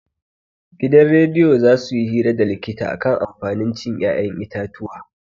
Gidan rediyo za suyi hira da likita akan amfanin cin 'ya'yan itatuwa.